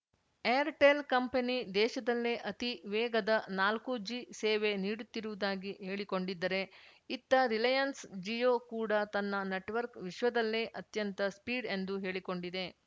Airtel company ದೇಶದಲ್ಲೇ ಅತೀ ವೇಗದ ನಾಲ್ಕುಜಿ ಸೇವೆ ನೀಡುತ್ತಿರುವುದಾಗಿ ಹೇಳಿಕೊಂಡಿದ್ದರೆ ಇತ್ತ ರಿಲಯನ್ಸ್‌ ಜಿಯೋ ಕೂಡ ತನ್ನ ನೆಟ್‌ವರ್ಕ್ ವಿಶ್ವದಲ್ಲೇ ಅತ್ಯಂತ ಸ್ಪೀಡ್‌ ಎಂದು ಹೇಳಿಕೊಂಡಿದೆ